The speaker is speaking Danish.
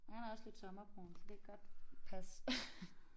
Han er også lidt sommerbrun så det kan godt passe